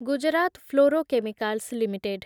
Gujarat fluorochemicals limited